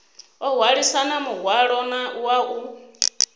o hwalisana muhwalo wa u